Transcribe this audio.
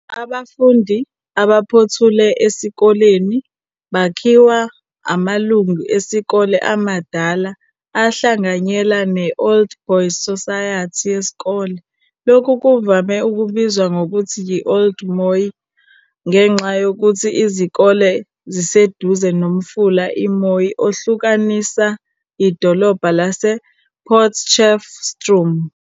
Abafundi abaphothule esikoleni bakhiwa amalungu esikole amadala ahlanganyela ne-Old Boys Society yesikole. Lokhu kuvame ukubizwa ngokuthi yi-Old Mooi ngenxa yokuthi izikole ziseduze noMfula i-Mooi ohlukanisa idolobha lasePotchefstroom.